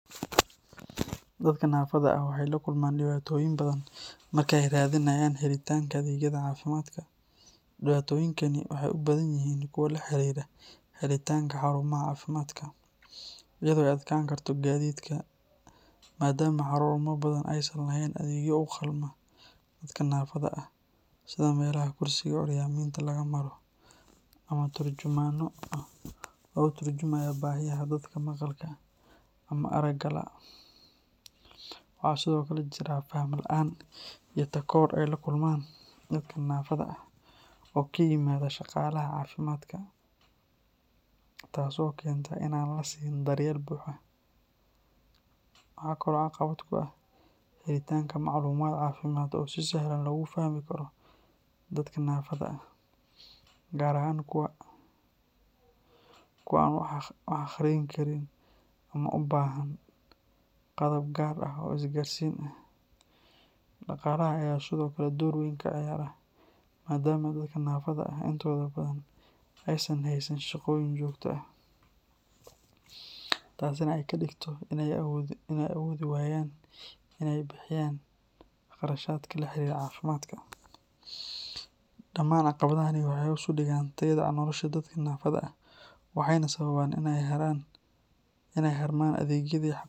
Dadka naafada ah waxay la kulmaan dhibaatooyin badan marka ay raadinayaan helitaanka adeegyada caafimaadka. Dhibaatooyinkani waxay u badan yihiin kuwo la xiriira helitaanka xarumaha caafimaadka, iyadoo ay adkaan karto gaadiidka, maadaama xarumo badan aysan lahayn adeegyo u qalma dadka naafada ah sida meelaha kursiga curyaamiinta laga maro ama turjumaanno u tarjuma baahiyaha dadka maqalka ama aragga la’. Waxaa sidoo kale jira faham la’aan iyo takoor ay la kulmaan dadka naafada ah oo ka yimaada shaqaalaha caafimaadka, taas oo keenta in aan la siin daryeel buuxa. Waxaa kale oo caqabad ku ah helitaanka macluumaad caafimaad oo si sahlan loogu fahmi karo dadka naafada ah, gaar ahaan kuwa aan wax akhriyin karin ama u baahan qaabab gaar ah oo isgaarsiin ah. Dhaqaalaha ayaa sidoo kale door weyn ka ciyaara, maadaama dadka naafada ah intooda badan aysan haysan shaqooyin joogto ah, taasina ay ka dhigto inay awoodi waayaan inay bixiyaan kharashaadka la xiriira caafimaadka. Dhamaan caqabadahani waxay hoos u dhigaan tayada nolosha dadka naafada ah, waxayna sababaan in ay ka harmaan adeegyadii,